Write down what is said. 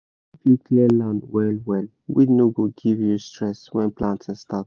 if you clear land well well weed no go give you stress when planting start